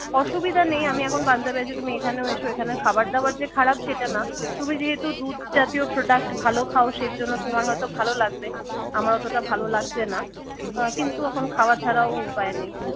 অসুবিধা নেই আমি এখন পাঞ্জাবে আছি তুমি এখানেও এসো, এখানে খাবার-দাবার যে খারাপ সেটা না তুমি যেহেতু দুধ জাতীয় product ভালো খাও সেজন্য তোমার হয়তো ভালো লাগবে আমার অতটা ভালো লাগছে না কিন্তু এখন খাওয়া ছাড়াও উপায় নেই